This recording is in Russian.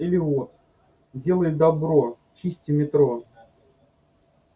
или вот делай добро чисти метро